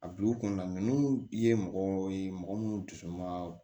A bi u kunda ye mɔgɔ ye mɔgɔ munnu dusu ma